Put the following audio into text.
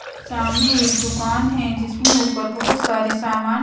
सामने एक दुकान है जिसमें ऊपर बहुत सारे सामान--